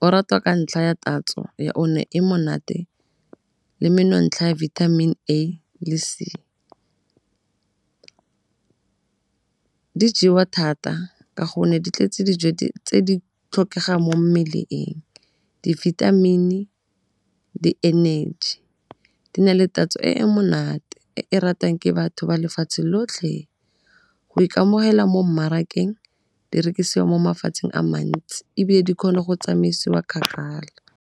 o ratwa ka ntlha ya tatso ya o ne e monate le menontsha ya vitamin A le C. Di jewa thata ka gonne di tletse dijo tse di tlhokegang mo mmeleng di-vitamin-i, di-energy di na le tatso e e monate e e ratang ke batho ba lefatshe lotlhe. Go ikamogela mo mmarakeng di rekisiwa mo mafatsheng a mantsi ebile di kgona go tsamaisiwa kgakala.